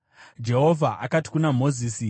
Jehovha akati kuna Mozisi,